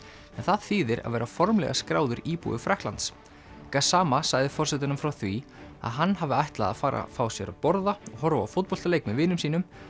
en það þýðir að vera formlega skráður íbúi Frakklands sagði forsetanum frá því að hann hafi ætlað að fara að fá sér að borða horfa á fótboltaleik með vinum sínum